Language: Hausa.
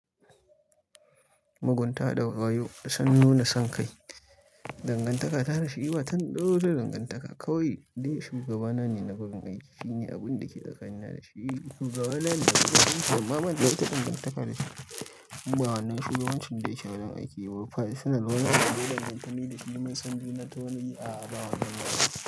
Mugunta da wayo da son nuna son kai. Dangantaka ta da shi ba ta wata dangantaka. Kawai dai shugabana ne na wurin aiki. Shine abin da ke tsakanina da shi. Shugaba na da mafi kyau. Amma banda wata danganta da shi. Ba'a nuna shugabancin da yake a wurin aiki ba. Faisalin wani ne dole dangantamin da shi. Mun san juna ta wani yi a ababen gida.